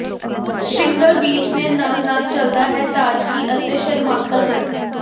shingle beach ਦੇ ਨਾਲ ਨਾਲ ਚੱਲਦਾ ਹੈ ਤਾਜ਼ਗੀ ਅਤੇ ਸ਼ਰਮਾਕਲ ਹਨ